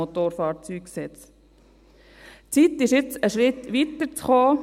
Jetzt ist es Zeit, einen Schritt weiterzukommen.